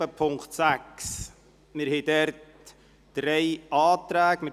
Es liegen uns dazu drei Anträge vor.